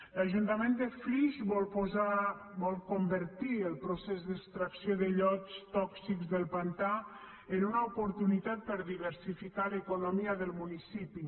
l’ajuntament de flix vol convertir el procés d’extracció de llots tòxics del pantà en una oportunitat per a diversificar l’economia del municipi